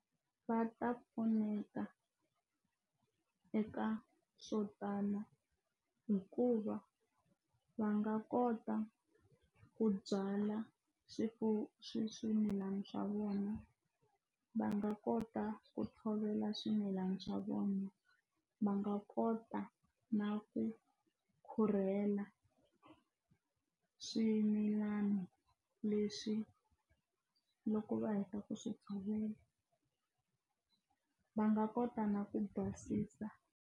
Va ta pfuneka eka swo tala hikuva va nga kota ku byala swimilani swa vona va nga kota ku tshovela swimilana swa vona va nga kota na ku khulurhela swimilana leswi loko va heta ku swi tshovela va nga kota na ku basisa.